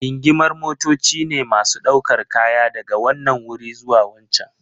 Gingimar motoci ne masu ɗaukar kaya daga wanan wuri zuwa wancan.